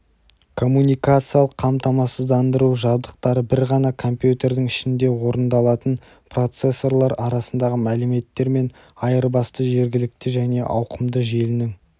коммуникациялық қамтамасыздандыру жабдықтары бір ғана компьютердің ішінде орындалатын процессорлар арасындағы мәліметтер мен айырбасты жергілікті және ауқымды желінің